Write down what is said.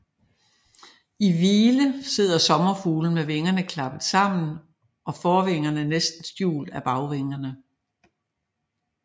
I hvile sidder sommerfuglen med vingerne klappet sammen og forvingerne næsten skjult af bagvingerne